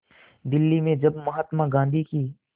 दिल्ली में जब महात्मा गांधी की